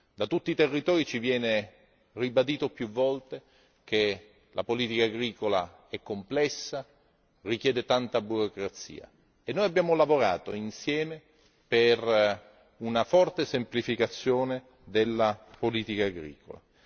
Da tutti i territori viene ribadito a più riprese che la politica agricola è complessa e burocratica e noi ci siamo adoperati, insieme, per una forte semplificazione della politica agricola.